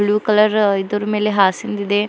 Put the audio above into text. Blue colour ಇದುರ್ ಮೇಲೆ ಹಾಸಿಂದಿದೆ.